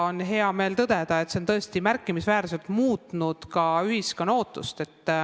On hea meel tõdeda, et see on tõesti märkimisväärselt muutnud ka ühiskonna ootust.